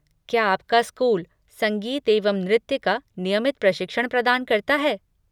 क्या आपका स्कूल संगीत एवं नृत्य का नियमित प्रशिक्षण प्रदान करता है?